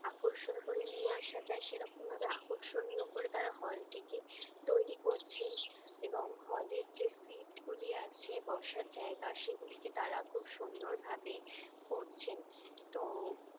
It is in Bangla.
আকর্ষণ করে নিয়ে আসা যায় সেরকম ভাবে আকর্ষণীয় করে তারা হল টিকেট তৈরি করছেন এবং hall এর যে sit গুলি আছে বসার জায়গা সেগুলিকে তারা খুব সুন্দর ভাবে করছেন তো